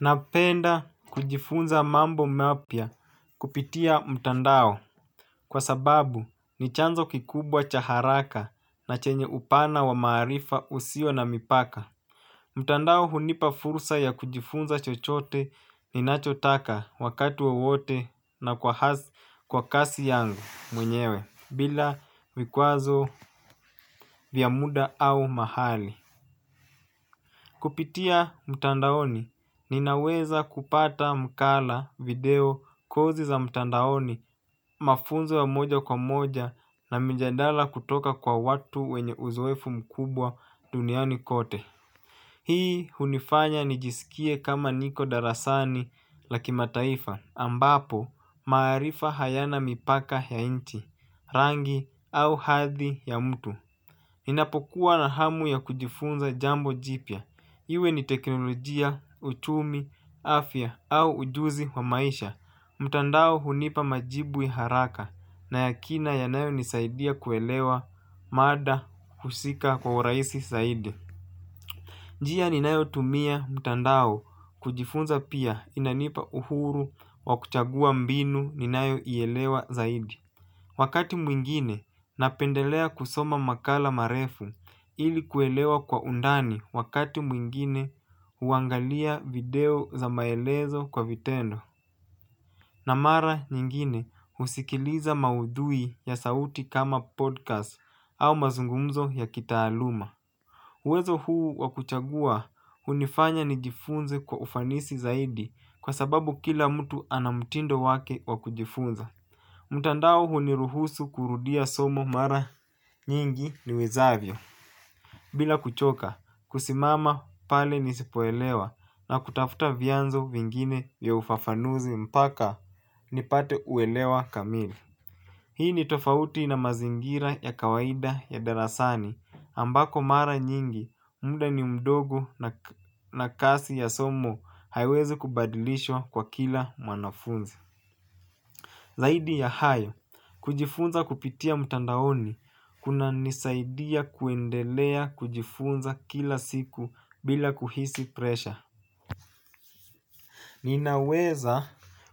Napenda kujifunza mambo mapya kupitia mtandao kwa sababu ni chanzo kikubwa cha haraka na chenye upana wa maarifa usio na mipaka. Mtandao hunipa fursa ya kujifunza chochote ni nachotaka wakati wowote na kwa kasi yangu mwenyewe bila vikwazo vyamuda au mahali. Kupitia mtandaoni, ninaweza kupata mkala video kozi za mtandaoni mafunzo ya moja kwa moja na mijadala kutoka kwa watu wenye uzoefu mkubwa duniani kote. Hii hunifanya nijisikie kama niko darasani lakimataifa ambapo maarifa hayana mipaka ya nchi, rangi au hadhi ya mtu. Ninapokuwa na hamu ya kujifunza jambo jipya. Iwe ni teknolojia, uchumi, afya au ujuzi wa maisha. Mtandao hunipa majibu ya haraka na yakina yanayo nisaidia kuelewa mada husika kwa urahisi zaidi. Njia ninayo tumia mtandao kujifunza pia inanipa uhuru wakuchagua mbinu ninayo ielewa zaidi. Wakati mwingine napendelea kusoma makala marefu ili kuelewa kwa undani wakati mwingine huangalia video za maelezo kwa vitendo. Na mara nyingine husikiliza maudhui ya sauti kama podcast au mazungumzo ya kitaaluma. Uwezo huu wakuchagua hunifanya nijifunze kwa ufanisi zaidi kwa sababu kila mtu ana mtindo wake wakujifunza. Mtandao huniruhusu kurudia somo mara nyingi niwezavyo. Bila kuchoka, kusimama pale nisipoelewa na kutafuta vianzo vingine vya ufafanuzi mpaka ni pate uelewa kamili. Hii ni tofauti na mazingira ya kawaida ya darasani ambako mara nyingi muda ni mdogo na kasi ya somo haiwezi kubadilishwa kwa kila mwanafunzi. Zaidi ya hayo, kujifunza kupitia mtandaoni kuna nisaidia kuendelea kujifunza kila siku bila kuhisi presha. Ninaweza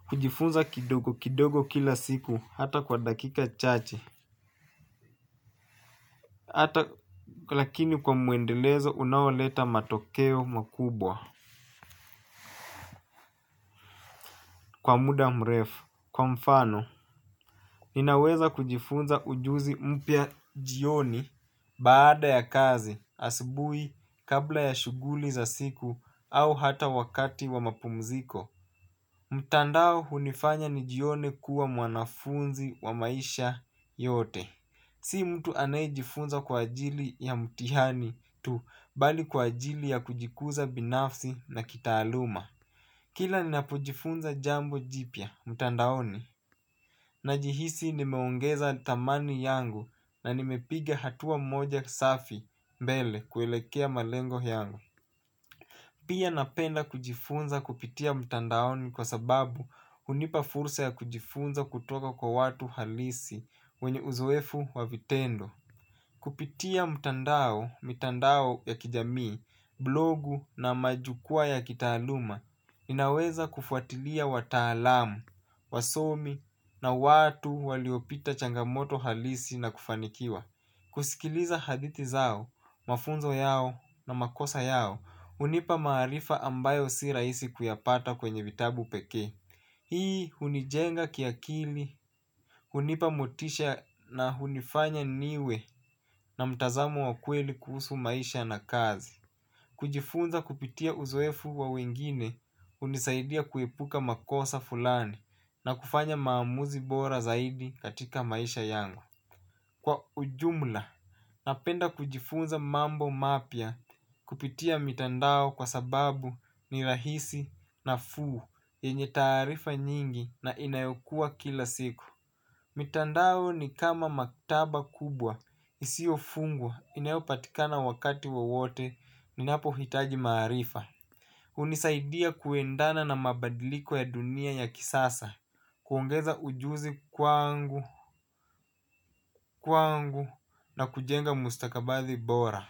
kujifunza kidogo kidogo kila siku hata kwa dakika chache. Hata lakini kwa muendelezo unaoleta matokeo makubwa kwa muda mrefu. Kwa mfano, ninaweza kujifunza ujuzi mpya jioni baada ya kazi asubuhi kabla ya shughuli za siku au hata wakati wa mapumziko. Mtandao hunifanya ni jione kuwa mwanafunzi wa maisha yote. Si mtu anayejifunza kwa ajili ya mtihani tu bali kwa ajili ya kujikuza binafsi na kitaaluma. Kila ni napojifunza jambo jipya, mtandaoni najihisi nimeongeza dhamani yangu na nimepiga hatua moja safi mbele kuelekea malengo yangu. Pia napenda kujifunza kupitia mtandaoni kwa sababu hunipa fursa ya kujifunza kutoka kwa watu halisi wenye uzoefu wa vitendo. Kupitia mtandao, mitandao ya kijamii, blogu na majukuwa ya kitaaluma, inaweza kufuatilia wataalam, wasomi na watu waliopita changamoto halisi na kufanikiwa. Kusikiliza hadithi zao, mafunzo yao na makosa yao, hunipa maarifa ambayo si rahisi kuyapata kwenye vitabu pekee. Hii hunijenga kiakili, hunipa motisha na hunifanya niwe na mtazamo wakweli kuhusu maisha na kazi. Kujifunza kupitia uzoefu wa wengine hunisaidia kuepuka makosa fulani na kufanya maamuzi bora zaidi katika maisha yangu. Kwa ujumla. Napenda kujifunza mambo mapya kupitia mitandao kwa sababu ni rahisi nafuu yenye taarifa nyingi na inayokua kila siku. Mitandao ni kama maktaba kubwa. Isio fungwa inayopatikana wakati wowote. Ninapo hitaji maarifa hunisaidia kuendana na mabadiliko ya dunia ya kisasa. Kuongeza ujuzi kwangu kwangu na kujenga mustakabadhi bora.